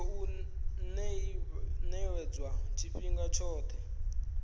tshi khou ḓivhadzwa tshifhinga tshoṱhe